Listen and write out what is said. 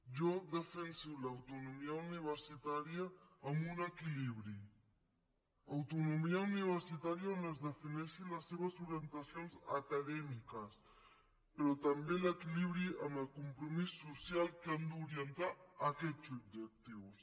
jo defenso l’autonomia universitària amb un equilibri autonomia universitària on es defineixin les seves orientacions acadèmiques però també l’equilibri amb el compromís social que han d’orientar aquests objectius